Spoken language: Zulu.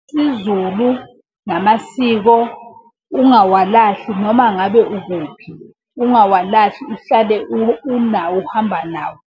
IsiZulu namasiko ungawalahli noma ngabe ukuphi. Ungawalahli uhlale unawo uhamba nawo.